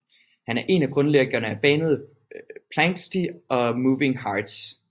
Han er en af grundlæggerne af bandet Planxty og Moving Hearts